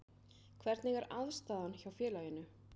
Hvernig er aðstaðan hjá félaginu?